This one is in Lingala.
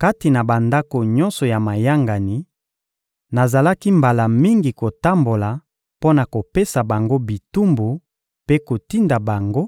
Kati na bandako nyonso ya mayangani, nazalaki mbala mingi kotambola mpo na kopesa bango bitumbu mpe kotinda bango